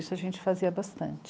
Isso a gente fazia bastante.